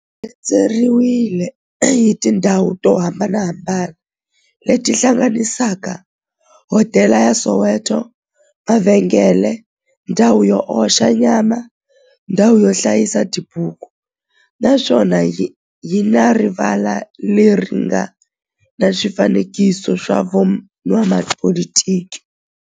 xi rhendzeriwile hi tindhawu to hambanahambana le ti hlanganisaka, hodela ya Soweto, mavhengele, ndhawu yo oxa nyama, ndhawu yo hlayisa tibuku, naswona yi na rivala le ri nga na swifanekiso swa vo n'watipolitiki.